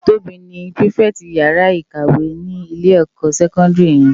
Tobi ni pirifèti iyàrá ikáwè ni ilé èkò sèkòndiri yèn